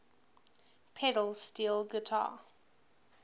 pedal steel guitar